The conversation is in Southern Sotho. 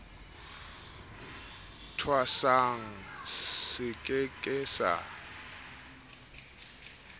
thwasang se ke ke sa